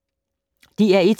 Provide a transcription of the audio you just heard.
DR1